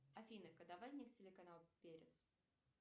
афина когда возник телеканал перец